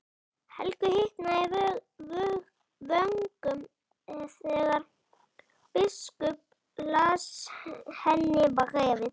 Helgu hitnaði í vöngum þegar biskup las henni bréfið.